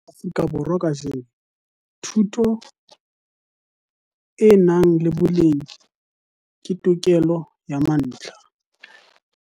Ka hara Afrika Borwa kajeno, thuto e nang le boleng ke tokelo ya mantlha.